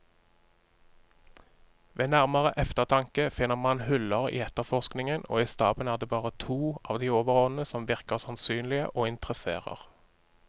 Ved nærmere eftertanke finner man huller i efterforskningen, og i staben er det bare to av de overordnede som virker sannsynlige og interesserer.